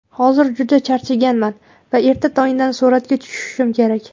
Hozir juda charchaganman va erta tongdan suratga tushishim kerak”.